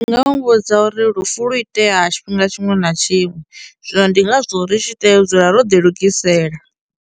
Ndi nga muvhudza uri lufu lu itea tshifhinga tshiṅwe na tshiṅwe zwino ndi ngazwo ri tshi tea u dzula ro ḓi lugisela.